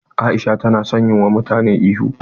Aisha ta na son yi wa mutane ihu.